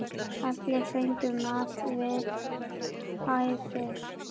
Allir fengu mat við hæfi.